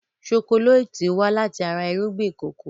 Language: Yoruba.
Ṣokoléètì wá láti ara irúgbìn kòkó.